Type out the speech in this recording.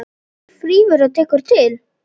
Hver þrífur og tekur til?